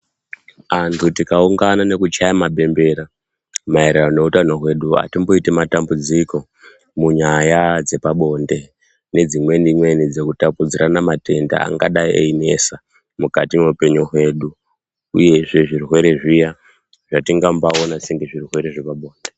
Antu tikaungana nekuchaya mabembere maererano nehutano hwedu atimboiti matambudziko munyaya dzepabonde nedzimweni mweni dzekutapudzirana matenda angadai einetsa mukati mehupenyu hwedu uyezve zvirwere zviya zvatingaona sezvirwere zvepabonde.